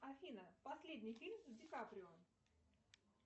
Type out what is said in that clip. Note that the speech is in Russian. афина последний фильм с ди каприо